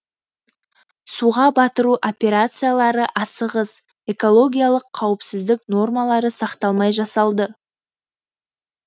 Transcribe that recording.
суға батыру операциялары асығыс экологиялық қауіпсіздік нормалары сақталмай жасалды